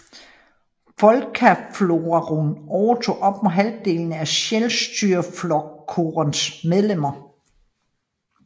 Fólkaflokkurin overtog op mod halvdelen af Sjálvstýrisflokkurins medlemmer